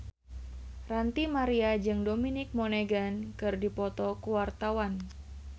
Ranty Maria jeung Dominic Monaghan keur dipoto ku wartawan